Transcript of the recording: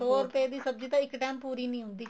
ਸੋ ਰੁਪਏ ਦੀ ਸਬਜ਼ੀ ਇੱਕ ਟੇਮ ਪੂਰੀ ਨਹੀਂ ਹੁੰਦੀ